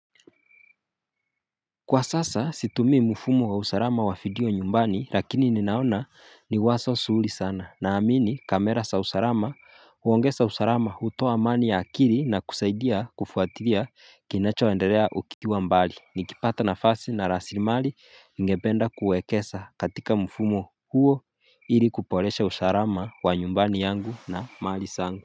Kwa sasa situmi mfumo wa usarama wa fidio nyumbani lakini ninaona niwaso suhuli sana na amini kamera sa usarama uongesa usarama hutoa amani ya akiri na kusaidia kufuatiria kinacho enderea ukiwa mbali nikipata na fasi na rasimali ningependa kuwekesa katika mfumo huo ili kupolesha usharama wa nyumbani yangu na mali sangu.